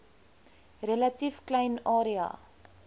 relatief klein area